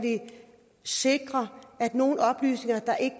sikre at nogle oplysninger der ikke